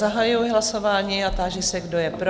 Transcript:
Zahajuji hlasování a táži se, kdo je pro?